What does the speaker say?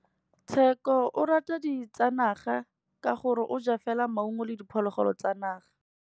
Tshekô o rata ditsanaga ka gore o ja fela maungo le diphologolo tsa naga.